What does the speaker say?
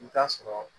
I t'a sɔrɔ